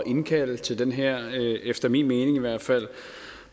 at indkalde til den her efter min mening i hvert fald